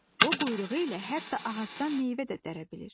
O quyruğu ilə hətta ağacdan meyvə də dərə bilir.